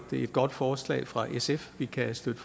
et godt forslag fra sf vi kan støtte